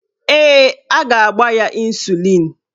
Ee, a ga-agba ya ịnsulịn